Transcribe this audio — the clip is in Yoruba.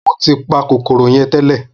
Mo tí pa kòkòrò yẹn tẹ́lẹ̀